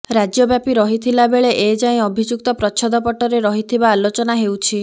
ରାଜ୍ୟବ୍ୟାପୀ ରହିଥିଲା ବେଳେ ଏଯାଏଁ ଅଭିଯୁକ୍ତ ପ୍ରଚ୍ଛଦପଟରେ ରହିଥିବା ଆଲୋଚନା ହେଉଛି